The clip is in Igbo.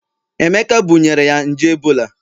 Emeka bunyere ya nje ebola